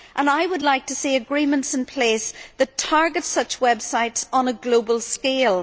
I would like to see agreements in place that target such websites on a global scale.